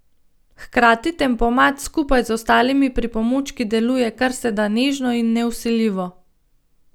Hkrati tempomat skupaj z ostalimi pripomočki deluje karseda nežno in nevsiljivo.